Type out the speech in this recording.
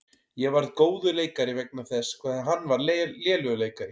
Ég varð góður leikari vegna þess hvað hann var lélegur leikari.